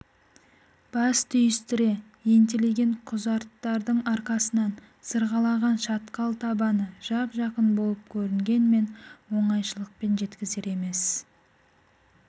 бас түйістіре ентелеген құзарттардың арасынан сығалаған шатқал табаны жап-жақын болып көрінгенмен оңайшылықпен жеткізер емес